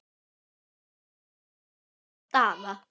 Ekki var hik að sjá á Daða.